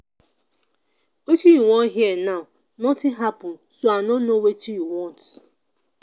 wetin you wan hear now nothing happen so i no know wetin you want